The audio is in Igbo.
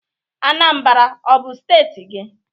Anambra ọ bụ steeti gị?